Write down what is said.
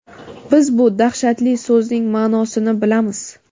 biz bu dahshatli so‘zning maʼnosini bilamiz.